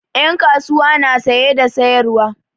Ƴan kasuwa na saye da sayarwa.